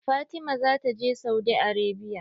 Fatima zata je Saudi Arabia.